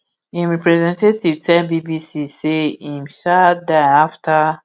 im representative tell bbc say im um die afta